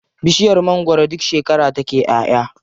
Bishiyar mangwaro duk shekara take ƴaʼya.